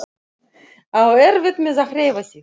Á erfitt með að hreyfa sig.